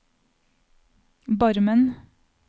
Barmen